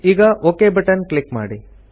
ಈಗ okay button click ಮಾಡಿ